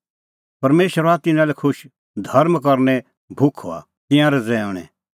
परमेशर हआ तिन्नां लै खुश धर्म करने भुख हआ तिंयां रज़ैऊंणै